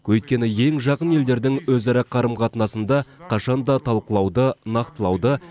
өйткені ең жақын елдердің өзара қарым қатынасында қашан да талқылауды нақтылауды